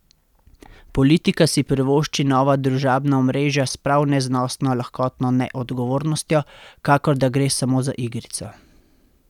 Politika si privošči nova družabna omrežja s prav neznosno lahkotno neodgovornostjo, kakor da gre samo za igrico.